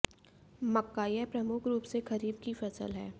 मक्काः यह प्रमुख रूप से खरीफ की फसल है